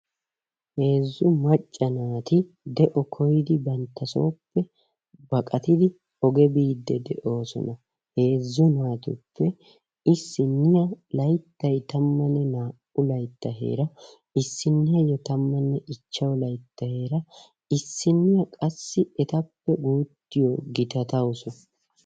Heezzu macca naati de'o koydi banttasooppe baqqattidi oge biidi de'oosona heezzu naatuppe issiniya layttay tammanne naa"u laytta heera issiniya tammanne ichchashshu laytta heera issiniya qassi etappe guuttaa gitattawus.